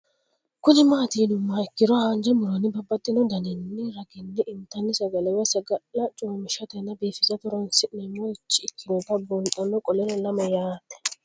Kuni mati yinumoha ikiro hanja muroni babaxino daninina ragini intani sagale woyi sagali comishatenna bifisate horonsine'morich ikinota bunxana qoleno lame yaate